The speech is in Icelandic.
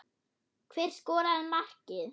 Hver skoraði markið?